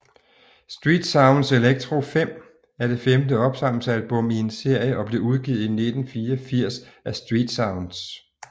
Street Sounds Electro 5 er det femte opsamlingsalbum i en serie og blev udgivet i 1984 af StreetSounds